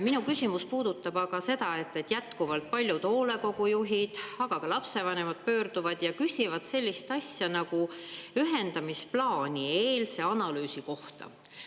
Minu küsimus puudutab aga seda, et jätkuvalt paljud hoolekogujuhid, aga ka lapsevanemad pöörduvad ja küsivad sellise asja nagu ühendamisplaanieelse analüüsi kohta.